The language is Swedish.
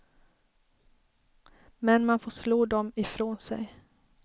Men man får slå dem ifrån sig.